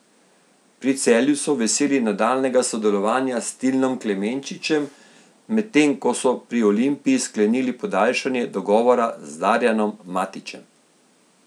Pri Celju so veseli nadaljnjega sodelovanja s Tilnom Klemenčičem, medtem ko so pri Olimpiji sklenili podaljšanje dogovora z Darjanom Matićem.